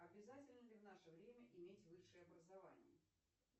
обязательно ли в наше время иметь высшее образование